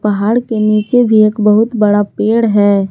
पहाड़ के नीचे भी एक बहुत बड़ा पेड़ है।